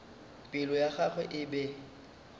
pelo ya gagwe e be